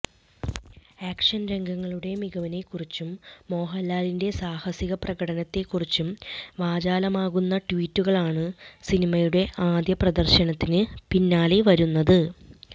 action രംഗങ്ങളുടെ മികവിനെക്കുറിച്ചും മോഹൻലാലിന്റെ സാഹസിക പ്രകടനത്തെക്കുറിച്ചും വാചാലമാകുന്ന ട്വീറ്റുകളാണ് സിനിമയുടെ ആദ്യ പ്രദർശനത്തിന് പിന്നാലെ വരുന്നത്